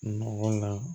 Nɔgɔ na